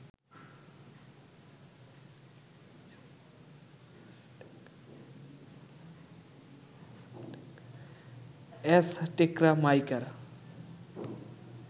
অ্যাজটেকরা মাইকার